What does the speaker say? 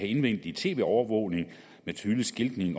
indvendig tv overvågning med tydelig skiltning